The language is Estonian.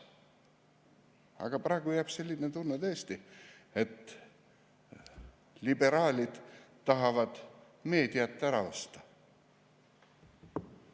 Aga praegu jääb tõesti selline tunne, et liberaalid tahavad meediat ära osta.